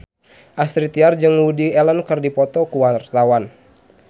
Astrid Tiar jeung Woody Allen keur dipoto ku wartawan